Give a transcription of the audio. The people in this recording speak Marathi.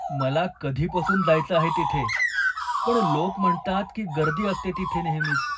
मला कधीपासून जायचं आहे तिथे, पण लोक म्हणतात की गर्दी असते तिथे नेहमीच.